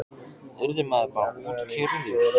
Yrði maður bara útkeyrður?